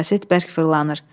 Kaset bərk fırlanır.